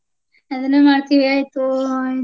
ಆದನು ಮಾಡ್ತೀವಿ ಆಯ್ತು ಇದು.